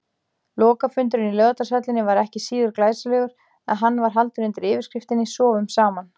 Lokafundurinn í Laugardalshöllinni var ekki síður glæsilegur, en hann var haldinn undir yfirskriftinni: Sofum saman.